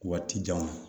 Waati jan